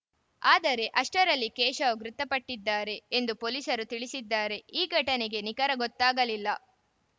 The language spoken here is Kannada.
ಆದರೆ ಅಷ್ಟರಲ್ಲಿ ಕೇಶವ ಮೃತಪಟ್ಟಿದ್ದಾರೆ ಎಂದು ಪೊಲೀಸರು ತಿಳಿಸಿದ್ದಾರೆ ಈ ಘಟನೆಗೆ ನಿಖರ ಗೊತ್ತಾಗಲಿಲ್ಲ